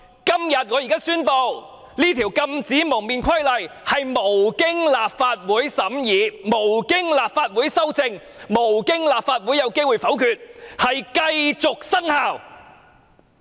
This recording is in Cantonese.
所以，我要在此宣布，《禁止蒙面規例》在無經立法會審議、無經立法會修正、立法會沒有機會否決之下繼續生效。